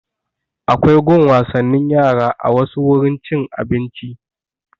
Akwai gun wasannin yara a wasu wurin cin abinci